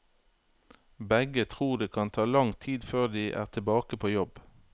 Begge tror det kan ta lang tid før de er tilbake på jobb.